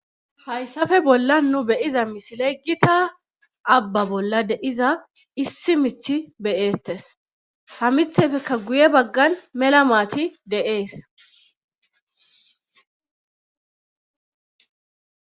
Hayssafe bolla nu beyiza misile gita abba bolla de iza issi mithi beyeettes hamithefekka guye baggan mela maati de7ees.